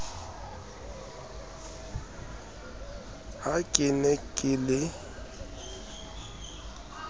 ha ke ne ke le